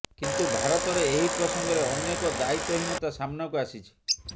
କିନ୍ତୁ ଭାରତରେ ଏହି ପ୍ରସଙ୍ଗରେ ଅନେକ ଦାୟିତ୍ୱହୀନତା ସାମ୍ନାକୁ ଆସିଛି